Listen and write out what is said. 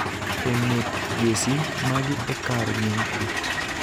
e ng�et jesi maggi e kar nying�gi.